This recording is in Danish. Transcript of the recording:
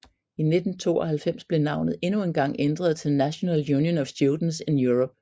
I 1992 blev navnet endnu en gang ændret til National Union of Students in Europe